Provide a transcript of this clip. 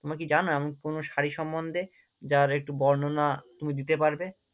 তোমরা কি জানো এমন কোনো শাড়ি সম্মন্ধে? যার একটু বর্ণনা তুমি দিতে পারবে?